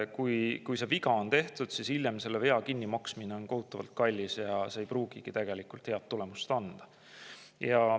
Kui see viga on tehtud, siis hiljem selle vea kinnimaksmine on kohutavalt kallis ja ei pruugigi tegelikult head tulemust anda.